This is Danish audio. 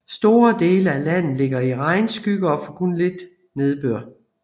Store dele af landet ligger i regnskygge og får kun lidt nedbør